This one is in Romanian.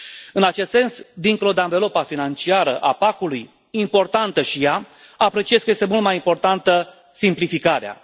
În acest sens, dincolo de anvelopa financiară a PAC ului, importantă și ea, apreciez că este mult mai importantă simplificarea.